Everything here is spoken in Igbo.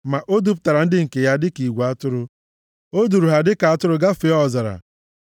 Ma o dupụtara ndị nke ya dịka igwe atụrụ; o duuru ha dịka atụrụ gafee ọzara.